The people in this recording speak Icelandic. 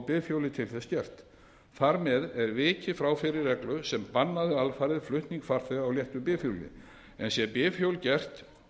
bifhjólið til þess gert þar með er vikið frá fyrri reglu sem bannaði alfarið flutning farþega á léttu bifhjóli sé bifhjól hins vegar gert